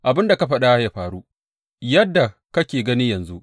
Abin da ka faɗa ya faru, yadda kake gani yanzu.